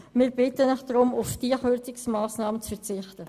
Wir bitten Sie deshalb, auf diese Kürzungsmassnahme zu verzichten.